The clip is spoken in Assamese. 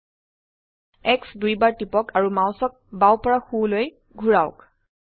X দুইবাৰ টিপক আৰু মাউসক বাও পৰা সোলৈ ঘোৰাওক